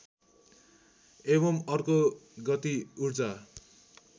एवं अर्को गति ऊर्जा